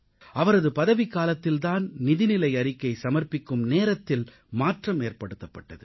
அவரது பதவிக்காலத்தில் தான் நிதிநிலை அறிக்கை சமர்ப்பிக்கும் நேரத்தில் மாற்றமேற்படுத்தப்பட்டது